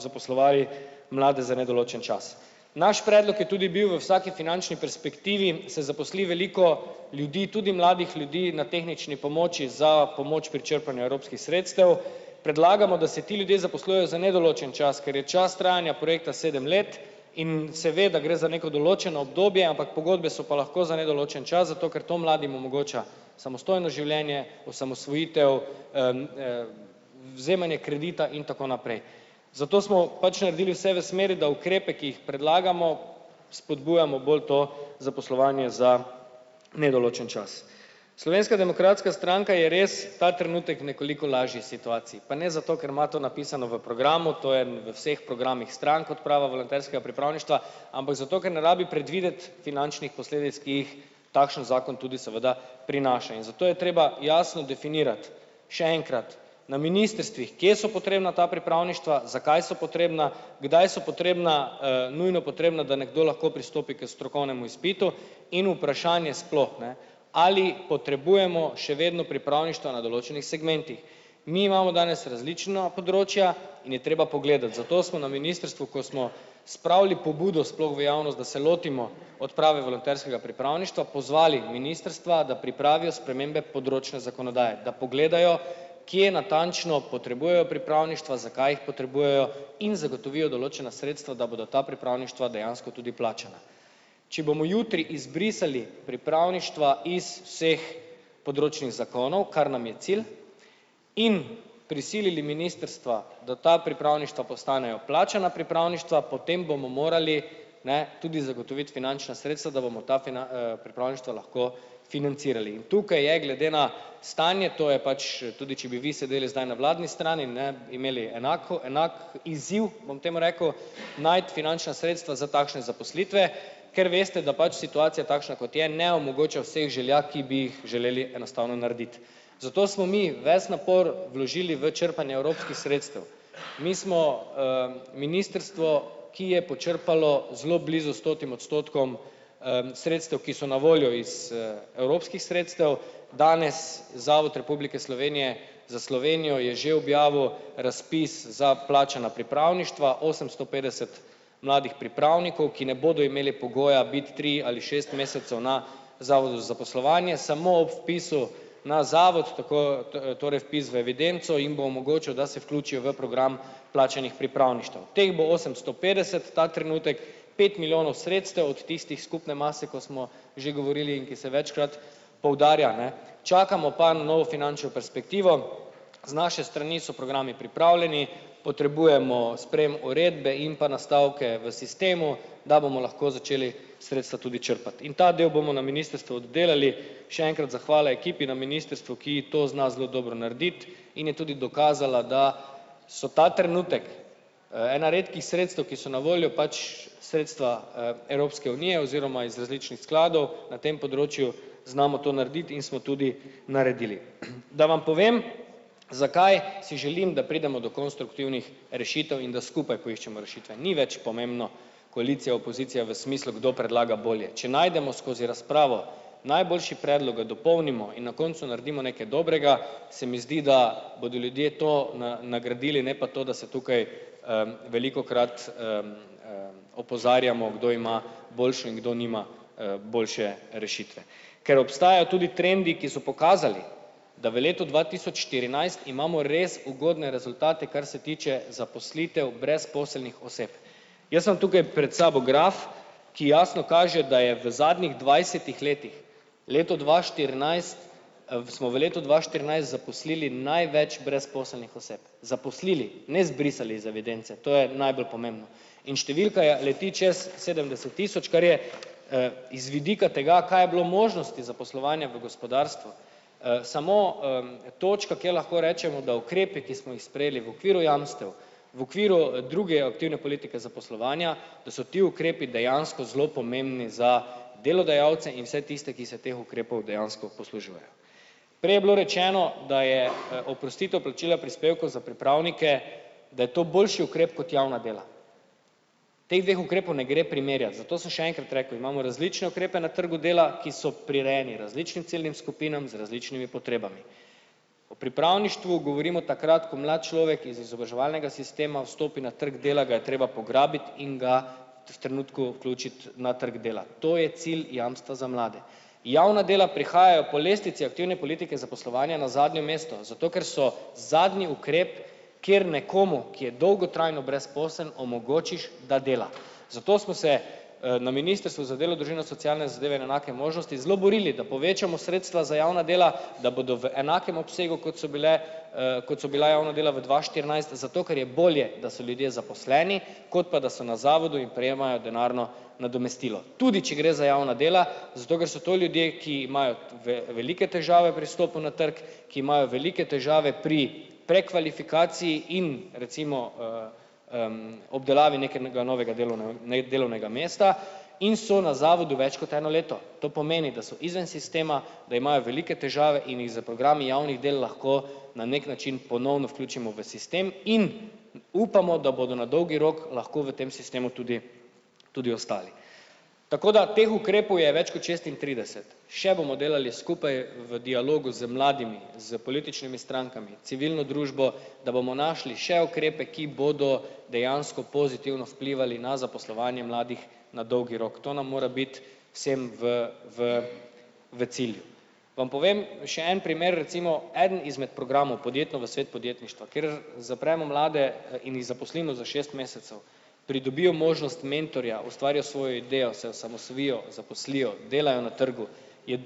zaposlovali mlade za nedoločen čas. Naš predlog je tudi bil: v vsaki finančni perspektivi se zaposli veliko ljudi, tudi mladih ljudi na tehnični pomoči za pomoč pri črpanju evropskih sredstev. Predlagamo, da se ti ljudje zaposlujejo za nedoločen čas, ker je čas trajanja projekta sedem let in se ve, da gre za neko določeno obdobje, ampak pogodbe so pa lahko za nedoločen čas zato, ker to mladim omogoča samostojno življenje, osamosvojitev, vzemanje kredita in tako naprej. Zato smo pač naredili vse v smeri, da ukrepe, ki jih predlagamo spodbujamo bolj to zaposlovanje za nedoločen čas. Slovenska demokratska stranka je res ta trenutek v nekoliko lažji situaciji. Pa ne zato, ker ima to napisano v programu, to je v vseh programih strank odprava volonterskega pripravništva, ampak zato, ker ne rabi predvideti finančnih posledic, ki jih takšen zakon tudi seveda prinaša. In zato je treba jasno definirati. Še enkrat, na ministrstvih, kje so potrebna ta pripravništva, za kaj so potrebna, kdaj so potrebna, nujno potrebna, da nekdo lahko pristopi k strokovnemu izpitu in vprašanje sploh, ne, ali potrebujemo še vedno pripravništva na določenih segmentih. Mi imamo danes različno področja in je treba pogledati, zato smo na ministrstvu, ko smo spravili pobudo sploh v javnost, da se lotimo odprave volonterskega pripravništva pozvali ministrstva, da pripravijo spremembe področne zakonodaje, da pogledajo, kje natančno potrebujejo pripravništva, zakaj jih potrebujejo in zagotovijo določena sredstva, da bodo ta pripravništva dejansko tudi plačana. Če bomo jutri izbrisali pripravništva iz vseh področnih zakonov, kar nam je cilj, in prisilili ministrstva, da ta pripravništva postanejo plačana pripravništva, potem bomo morali, ne, tudi zagotoviti finančna sredstva, da bomo ta pripravništva lahko financirali. In tukaj je glede na stanje, to je pač tudi, če bi vi sedeli zdaj na vladni strani, ne, imeli enako enak izziv, bom temu rekel, najti finančna sredstva za takšne zaposlitve, ker veste, da pač situacija, takšna kot je, ne omogoča vseh želja, ki bi jih želeli enostavno narediti. Zato smo mi ves napor vložili v črpanje evropskih sredstev. Mi smo, ministrstvo, ki je počrpalo zelo blizu stotim odstotkom sredstev, ki so na voljo iz, evropskih sredstev. Danes Zavod Republike Slovenije za Slovenijo je že objavil razpis za plačana pripravništva, osemsto petdeset mladih pripravnikov, ki ne bodo imeli pogoja biti tri ali šest mesecev na zavodu za zaposlovanje samo ob vpisu na zavod, tako torej vpis v evidenco in bo omogočal, da se vključijo v program plačanih pripravništev. Teh bo osemsto petdeset ta trenutek, pet milijonov sredstev od tistih skupne mase, ko smo že govorili in ki se večkrat poudarja, ne. Čakamo pa na novo finančno perspektivo, z naše strani so programi pripravljeni, potrebujemo sprejem uredbe in pa nastavke v sistemu, da bomo lahko začeli sredstva tudi črpati. In ta del bomo na ministrstvu oddelali, še enkrat zahvala ekipi na ministrstvu, ki to zna zelo dobro narediti in je tudi dokazala, da so ta trenutek, ena redkih sredstev, ki so na voljo, pač sredstva, Evropske unije oziroma iz različnih skladov na tem področju, znamo to narediti in smo tudi naredili. Da vam povem, zakaj si želim, da pridemo do konstruktivnih rešitev in da skupaj poiščemo rešitve, ni več pomembno, koalicija, opozicija v smislu, kdo predlaga bolje. Če najdemo skozi razpravo najboljši predlog, ga dopolnimo in na koncu naredimo nekaj dobrega, se mi zdi, da bodo ljudje to nagradili, ne pa to, da se tukaj, velikokrat, opozarjamo, kdo ima boljšo in kdo nima, boljše rešitve. Ker obstajajo tudi trendi, ki so pokazali da v letu dva tisoč štirinajst imamo res ugodne rezultate, kar se tiče zaposlitev brezposelnih oseb. Jaz imam tukaj pred sabo graf, ki jasno kaže, da je v zadnjih dvajsetih letih leto dva štirinajst, smo v letu dva štirinajst zaposlili največ brezposelnih oseb. Zaposlili! Ne zbrisali iz evidence, to je najbolj pomembno. In številka je leti čez sedemdeset tisoč, kar je, iz vidika tega, kaj je bilo možnosti zaposlovanja v gospodarstvu, samo, točka, ki lahko rečemo, da ukrepe, ki smo jih sprejeli v okviru jamstev v okviru druge aktivne politike zaposlovanja, da so ti ukrepi dejansko zelo pomembni za delodajalce in vse tiste, ki se teh ukrepov dejansko poslužujejo. Prej je bilo rečeno, da je, oprostitev plačila prispevkov za pripravnike, da je to boljši ukrep kot javna dela. Teh dveh ukrepov ne gre primerjati, zato sem še enkrat rekel, imamo različne ukrepe na trgu dela, ki so prirejeni različnim ciljnim skupinam z različnimi potrebami. O pripravništvu govorimo takrat, ko mlad človek iz izobraževalnega sistema vstopi na trg dela, ga je treba pograbiti in ga v trenutku vključiti na trg dela. To je cilj jamstva za mlade. Javna dela prihajajo po lestvici aktivne politike za poslovanje na zadnje mesto zato, ker so zadnji ukrep, kjer nekomu, ki je dolgotrajno brezposeln, omogočiš, da dela. Zato smo se, na ministrstvu za delo, družino, socialne zadeve in enake možnosti zelo borili, da povečamo sredstva za javna dela, da bodo v enakem obsegu, kot so bile, kot so bila javna dela v dva štirinajst, zato, ker je bolje, da so ljudje zaposleni, kot pa da so na zavodu in prejemajo denarno nadomestilo. Tudi če gre za javna dela zato, ker so to ljudje, ki imajo velike težave pri vstopu na trg, ki imajo velike težave pri prekvalifikaciji in recimo, obdelavi nekega novega nej delovnega mesta in so na zavodu več kot eno leto. To pomeni, da so izven sistema da imajo velike težave in jih s programi javnih del lahko na neki način ponovno vključimo v sistem in upamo, da bodo na dolgi rok lahko v tem sistemu tudi tudi ostali. Tako da teh ukrepov je več kot šestintrideset. Še bomo delali skupaj v dialogu z mladimi, s političnimi strankami, civilno družbo, da bomo našli še ukrepe, ki bodo dejansko pozitivno vplivali na zaposlovanje mladih na dolgi rok. To nam mora biti vsem v v v cilj. Vam povem še en primer. Recimo eden izmed programov, Podjetno v svet podjetništva, kjer zapremo mlade in jih zaposlimo za šest mesecev. Pridobijo možnost mentorja, ustvarijo svoj d. o. o., se osamosvojijo, zaposlijo, delajo na trgu, je,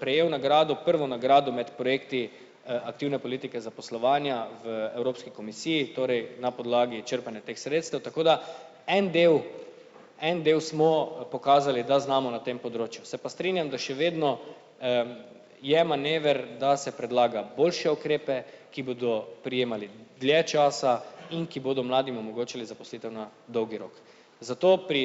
prejel nagrado, prvo nagrado med projekti, aktivne politike zaposlovanja v Evropski komisiji, torej na podlagi črpanja teh sredstev, tako da en del, en del smo pokazali, da znamo na tem področju, se pa strinjam, da še vedno, je manever, da se predlaga boljše ukrepe, ki bodo prijemali dlje časa in ki bodo mladim omogočili zaposlitev na dolgi rok. Zato pri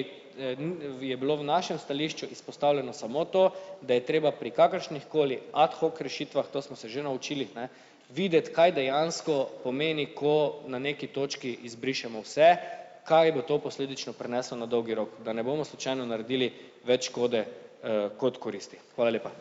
je bilo v našem stališču izpostavljeno samo to, da je treba pri kakršnih koli ad hoc rešitvah, to smo se že naučili, ne, videti, kaj dejansko pomeni, ko na neki točki izbrišemo vse, kaj bo to posledično prineslo na dolgi rok. Da ne bomo slučajno naredili več škode, kot koristi. Hvala lepa.